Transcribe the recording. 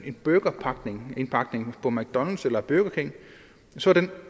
en burgerindpakning på mcdonalds eller burger king så er den